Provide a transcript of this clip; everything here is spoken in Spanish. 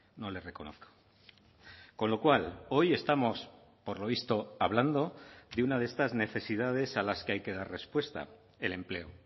no le reconozco con lo cual hoy estamos por lo visto hablando de una de estas necesidades a las que hay que dar respuesta el empleo